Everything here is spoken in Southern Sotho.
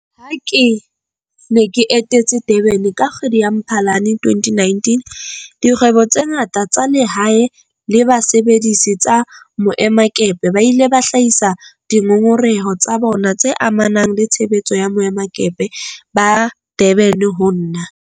Ha ke ne ke etetse Durban ka kgwedi ya Mphalane 2019, dikgwebo tse ngata tsa lehae le basebedisi ba boemakepe ba ile ba hlahisa dingongoreho tsa bona tse amanang le tshebetso ya boemakepe ba Durban ho nna.